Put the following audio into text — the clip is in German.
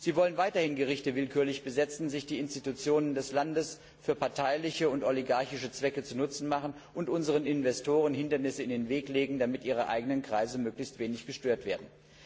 Sie wollen weiterhin Gerichte willkürlich besetzen, sich die Institutionen des Landes für parteiliche und oligarchische Zwecke zu Nutzen machen und unseren Investoren Hindernisse in den Weg legen, damit ihre eigenen Kreise möglichst wenig gestört werden.